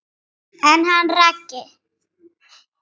En hann Raggi?